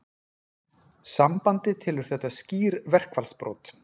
Sambandið telur þetta skýr verkfallsbrot